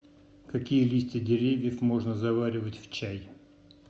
какие листья деревьев можно заваривать в чай